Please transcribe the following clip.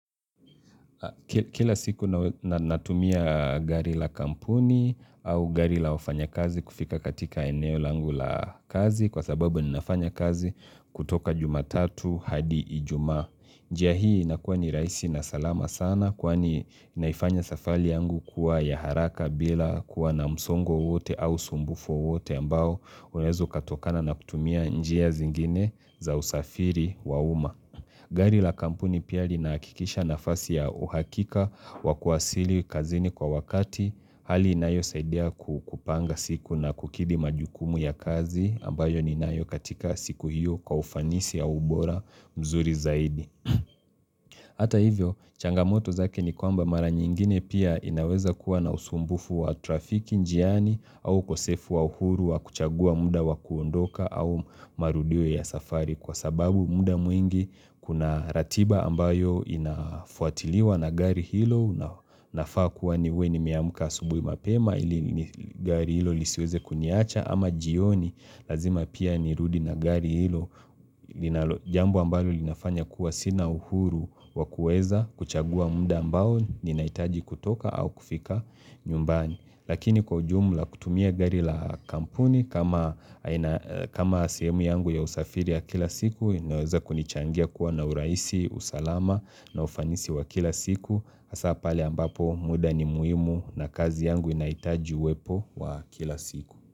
Kila siku natumia gari la kampuni au gari la wafanya kazi kufika katika eneo langu la kazi kwa sababu ninafanya kazi kutoka jumatatu hadi ijumaa. Njia hii nakuwa ni raisi na salama sana kwani naifanya safari yangu kuwa ya haraka bila kuwa na msongo wowote au sumbufu wowote ambao unaweza ukatokana na kutumia njia zingine za usafiri wa uma. Gari la kampuni pia linahakikisha nafasi ya uhakika wakuasili kazini kwa wakati hali inayo saidia kupanga siku na kukidi majukumu ya kazi ambayo ninayo katika siku hiyo kwa ufanisi ya ubora mzuri zaidi. Hata hivyo changamoto zake ni kwamba mara nyingine pia inaweza kuwa na usumbufu wa trafiki njiani au ukosefu wa uhuru wa kuchagua muda wa kuondoka au marudio ya safari kwa sababu muda mwingi kuna ratiba ambayo inafuatiliwa na gari hilo nafaa kuwa niwe nimeamuka asubuhi mapema ili gari hilo lisiweze kuniacha ama jioni lazima pia ni rudi na gari hilo jambo ambalo linafanya kuwa sina uhuru wakueza kuchagua muda ambayo ninaitaji kutoka au kufika nyumbani Lakini kwa ujumla kutumia gari la kampuni kama sehemu yangu ya usafiri ya kila siku, naweza kunichangia kuwa na uraisi, usalama na ufanisi wa kila siku. Hasa pale ambapo muda ni muhimu na kazi yangu inaitaji uwepo wa kila siku.